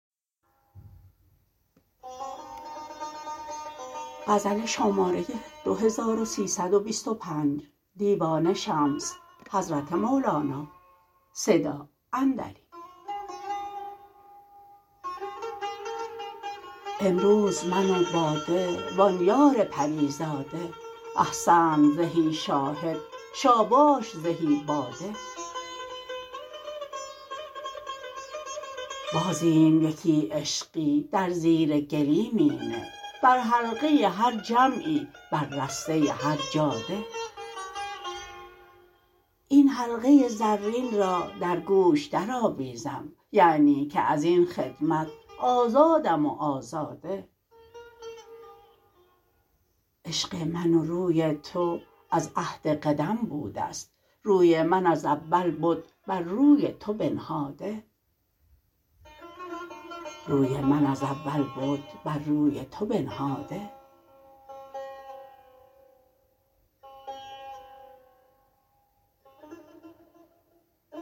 امروز من و باده و آن یار پری زاده احسنت زهی خرم شاباش زهی باده بازیم یکی عشقی در زیر گلیمی به بر حلقه هر جمعی بر رسته هر جاده این حلقه زرین را در گوش درآویزم یعنی که از این خدمت آزادم و آزاده عشق من و روی تو از عهد قدم بوده ست روی من از اول بد بر روی تو بنهاده